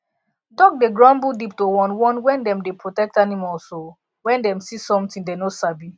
dog dey grumble deep to warn warn wen dem dey protect animals o wen dem see somtin dey no sabi